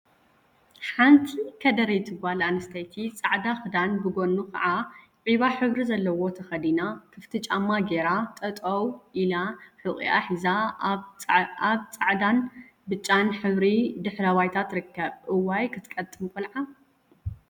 ሓንቲ ከደረይቲ ጋል ኣንስተይቲ ጻዕዳ ክዳን ብጎኑ ከዓ ዒባ ሕብሪ ዘለዎ ተከዲና ክፍቲ ጫማ ገይራ ጠጠው ኣኢላ ሑቂኣ ሒዛ ኣብ ጻዕዳን ብጫን ሕብሪ ድሕረ ባይታ ትርከብ። እዋይ ክትቀጥን ቆልዓ!